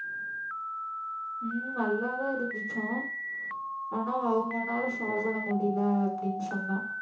ஹம் நல்லாதான் இருந்துச்சாம் ஆனா அவங்கனால சாப்பிட முடியலை அப்படின்னு சொன்னா